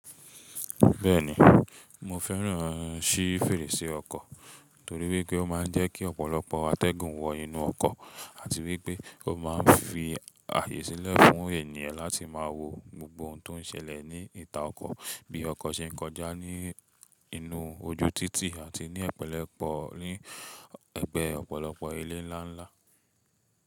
Bẹ́ẹ̀ni, mo fẹ́ràn sí fèrèsé ọkọ̀ torí wípé ó máa ń jẹ́ kí ọ̀pọ̀lọpọ̀ atẹ́gùn wọ inú ọkọ̀ àti wípé ó máa ń fi àyè sílẹ̀ fún ènìyàn láti máa wo gbogbo ohun tó ń ṣẹlẹ̀ ní ìta ọkọ̀ bí ọkọ̀ ṣe ń kọjá ní inú ojú títì àti ní ẹ́pélẹ́po yin ẹgbẹ́ ọ̀pọ̀lọpọ̀ ilé ńlá ńlá.